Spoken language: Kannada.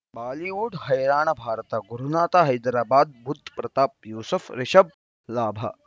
ಬಾಲಿವುಡ್ ಹೈರಾಣ ಭಾರತ ಗುರುನಾಥ ಹೈದರಾಬಾದ್ ಬುಧ್ ಪ್ರತಾಪ್ ಯೂಸುಫ್ ರಿಷಬ್ ಲಾಭ